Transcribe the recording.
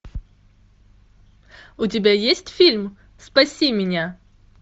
у тебя есть фильм спаси меня